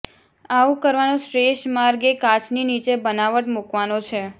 આવું કરવાનો શ્રેષ્ઠ માર્ગ એ કાચની નીચે બનાવટ મૂકવાનો છે